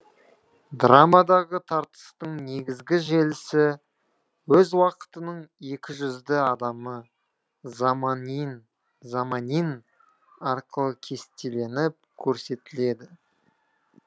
драмадағы тартыстың негізгі желісі өз уақытының екіжүзді адамы заманин заманин арқылы кестеленіп көрсетіледі